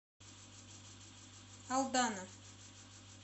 алдана